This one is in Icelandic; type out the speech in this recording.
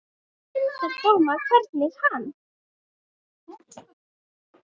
Grundar dóma, hvergi hann